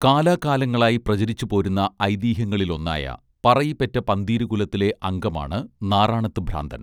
കാലാകാലങ്ങളായി പ്രചരിച്ചു പോരുന്ന ഐതിഹ്യങ്ങളിലൊന്നായ പറയി പെറ്റ പന്തിരുകുലത്തിലെ അംഗമാണ് നാറാണത്ത് ഭ്രാന്തൻ